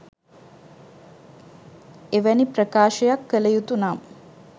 එවැනි ප්‍රකාශයක් කළ යුතු නම්